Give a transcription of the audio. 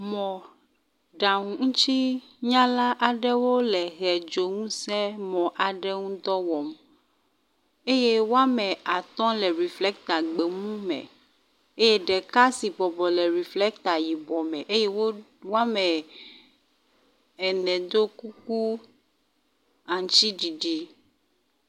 Mɔɖaŋu ŋutsunyala aɖewo le ʋedzo ŋutsinu dɔ wɔm eye wɔme atɔ le reflecta gbemu me eye ɖeka si bɔbɔ le reflecta yibɔ me eye wo wɔme ene do kuku aŋtsiɖiɖi.